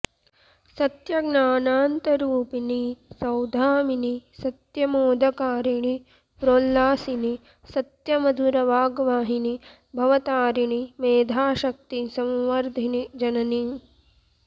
सत्य ज्ञानानन्तरूपिणि सौधामिनि सत्यमोदकारिणि प्रोल्लासिनि सत्य मधुर वाग्वाहिनि भवतारिणि मेधाशक्ति संवर्धिनि जननि